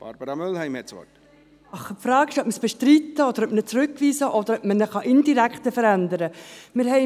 Die Frage stellt sich, ob wir ihn bestreiten, zurückweisen oder ob wir ihn indirekt verändern können.